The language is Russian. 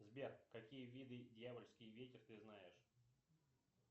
сбер какие виды дьявольский ветер ты знаешь